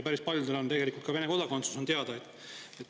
Päris paljudel on tegelikult ka Vene kodakondsus, see on teada.